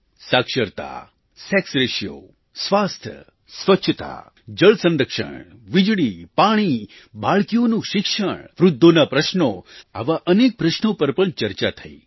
સાક્ષરતા sex ratio સ્વાસ્થ્ય સ્વચ્છતા જળસંરક્ષણ વીજળી પાણી બાળકીઓનું શિક્ષણ વૃદ્ધોના પ્રશ્નોઆવા અનેક પ્રશ્નો પર પણ ચર્ચા થઈ